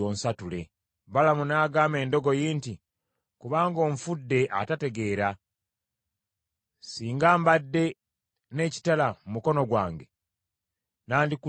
Balamu n’agamba endogoyi nti, “Kubanga onfudde atategeera! Singa mbadde n’ekitala mu mukono gwange nandikuttiddewo kaakano.”